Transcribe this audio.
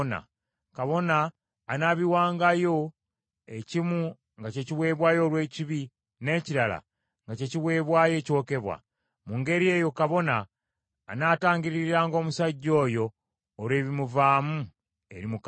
Kabona anaabiwangayo, ekimu nga kye kiweebwayo olw’ekibi n’ekirala nga kye kiweebwayo ekyokebwa. Mu ngeri eyo kabona anaatangiririranga omusajja oyo olw’ebimuvaamu eri Mukama .